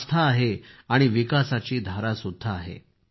आस्था आहे आणि विकासाची धारासुद्धा आहे